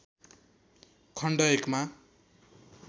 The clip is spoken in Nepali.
खण्ड १ मा